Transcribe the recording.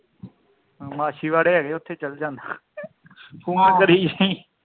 ਮਾਛੀਵਾੜੇ ਹੈਗੇ ਉੱਥੇ ਚਾਲ ਜਾਣਾ ਤੂੰ ਆ ਕਰੀ ਜਾਵੀ